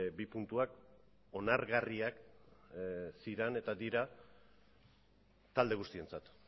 bi puntuak onargarriak ziren eta dira talde guztientzat